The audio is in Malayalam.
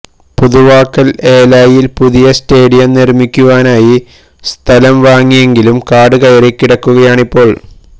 പുതുവാക്കൽ ഏലായിൽ പുതിയ സ്റ്റേഡിയം നർമിക്കുവാനായി സ്ഥലം വാങ്ങിയെങ്കിലും കാട്കയറി കിടക്കുകയാണിപ്പോൾ